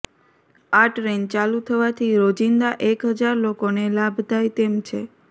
આ ટ્રેન ચાલુ થવાથી રોજિંદા એક હજાર લોકોને લાભ થાય તેમ છે